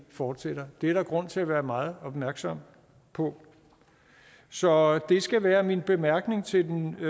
fortsætter det er der grund til at være meget opmærksom på så det skal være min bemærkning til den